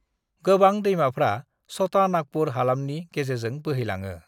गोबां दैमाफ्रा छटा नागपुर हालामनि गेजेरजों बोहैलाङो।